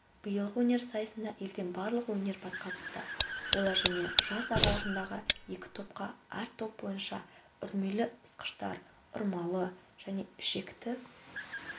биылғы өнер сайысына елден барлығы өнерпаз қатысты олар және жас аралығында екі топқа әр топ бойынша үрмелі ысқыштар ұрмалы және ішекті